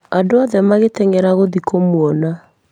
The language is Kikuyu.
Andũ othe magĩteng'era gũthiĩ kũmuona.